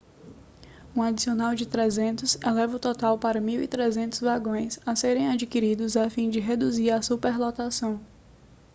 um adicional de 300 eleva o total para 1.300 vagões a serem adquiridos a fim de reduzir a superlotação